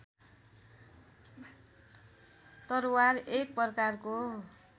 तरवार एक प्रकारको